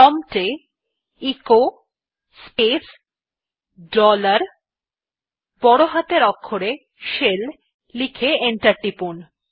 prompt এ echo space dollar বড় হাতের অক্ষরে শেল লিখে এন্টার টিপুন